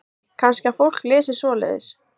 Breki: Kannski að fólk lesi svoleiðis?